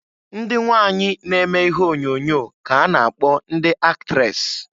Ndị nwanyị na-eme ihe onyoonyo ka-a na-akpọ ndị aktres.